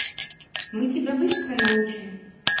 мы тебя быстро научим